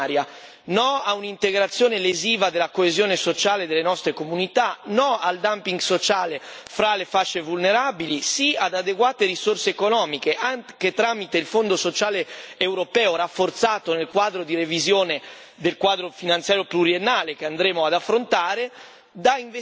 No a un'integrazione lesiva della coesione sociale delle nostre comunità, no al dumping sociale fra le fasce vulnerabili, sì ad adeguate risorse economiche, anche tramite il Fondo sociale europeo rafforzato nel quadro di revisione del Quadro finanziario pluriennale che andremo ad affrontare, che devono essere investite